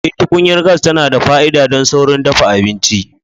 Eh, tukunyar gas tana da fa'ida don saurin dafa abinci.